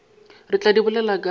re tla di bolela ka